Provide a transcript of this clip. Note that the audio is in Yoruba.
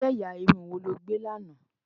ìrù ẹyà Irun wọ ló gbè là nà